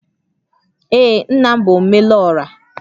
Ee, nna m bụ Omelora